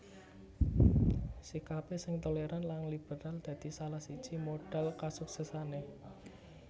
Sikapé sing tolèran lan liberal dadi salah siji modhal kasuksèsané